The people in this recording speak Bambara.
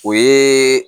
O ye